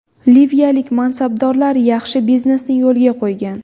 Liviyalik mansabdorlar yaxshi biznesni yo‘lga qo‘ygan.